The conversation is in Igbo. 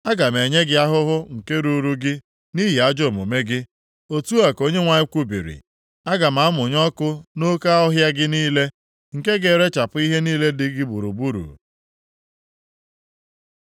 Aga m enye gị ahụhụ nke ruuru gị nʼihi ajọ omume gị, otu a ka Onyenwe anyị kwubiri. Aga m amụnye ọkụ nʼoke ọhịa gị niile, nke ga-erechapụ ihe niile dị gị gburugburu.’ ”